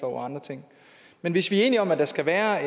og andre ting men hvis vi er enige om at der skal være